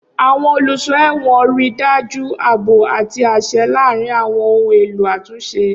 Awọn oluso ẹwọn rii daju aabo ati aṣẹ laarin awọn ohun elo atunṣe.